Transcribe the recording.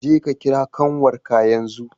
Je ka kira ƙanwarka yanzu!